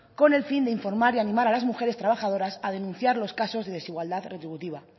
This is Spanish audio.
con el fin de informar y animar a las mujeres trabajadoras a denunciar los casos de desigualdad retributiva